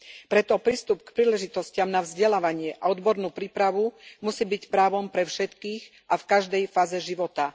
Preto prístup k príležitostiam na vzdelávanie a odbornú prípravu musí byť právom pre všetkých a v každej fáze života.